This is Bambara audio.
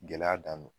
Gɛlɛya dan don